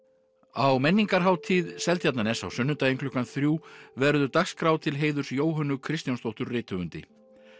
á menningarhátíð Seltjarnarness á sunnudaginn klukkan þrjú verður dagskrá til heiðurs Jóhönnu Kristjónsdóttur rithöfundi